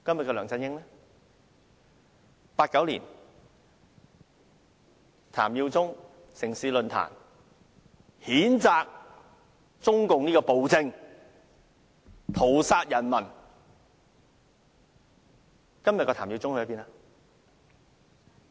在1989年，譚耀宗在"城市論壇"譴責中共這殘暴政權屠殺人民，今天的譚耀宗在哪裏？